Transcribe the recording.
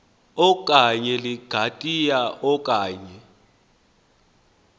okanye ligatya okanye